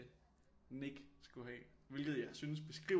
Nik skulle have hvilket jeg synes beskriver